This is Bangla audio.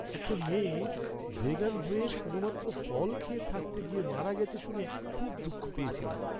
একটা মেয়ে ভেগান হয়ে শুধুমাত্র ফল খেয়ে থাকতে গিয়ে মারা গেছে শুনে খুব দুঃখ পেয়েছিলাম।